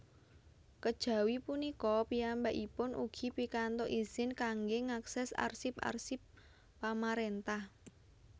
Kejawi punika piyambakipun ugi pikantuk izin kangge ngakses arsip arsip pamarentah